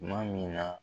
Tuma min na